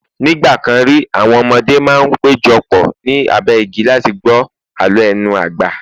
nigbakan ri, àwọn ọmọdé ma n pejọ pọ̀ ni abe igi láti gbọ àlọ lenu agba